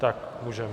Tak můžeme.